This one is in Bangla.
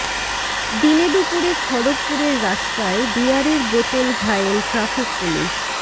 দিনে দুপুরে খড়গপুরের রাস্তায় বিয়ারের বোতল ঘায়েল ট্রাফিক পুলিস